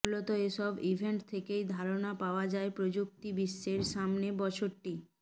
মূলত এসব ইভেন্ট থেকেই ধারণা পাওয়া যায় প্রযুক্তিবিশ্বের সামনের বছরটি